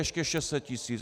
Ještě 600 tisíc!